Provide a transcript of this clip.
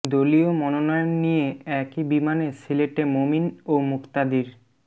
দলীয় মনোনয়ন নিয়ে একই বিমানে সিলেটে মোমিন ও মুক্তাদির